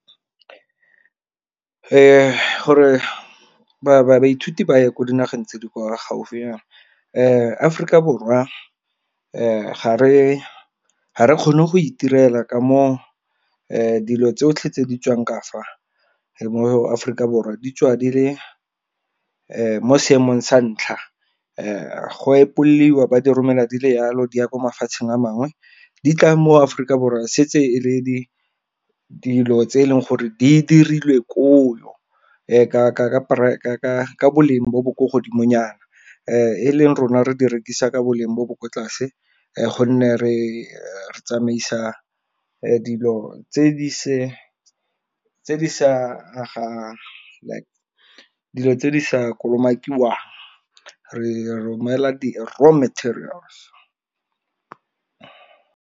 Gore baithuti ba ye ko dinageng tse di kwa gaufinyana Aforika Borwa ga re kgone go itirela ka mo dilo tsotlhe tse di tswang ka fa, mo Aforika Borwa di tswa di le mo seemong sa ntlha. Go epoliwa ba diromelwa di le yalo di ya kwa mafatsheng a mangwe, di tla mo Aforika Borwa setse e le di dilo tse e leng gore di dirilwe ko o, ka boleng bo bo ko godimo nyana. E leng rona re di rekisa ka boleng jo bo kwa tlase, gonne re re tsamaisa dilo tse di sa kolomakiwang re romela di-raw materials.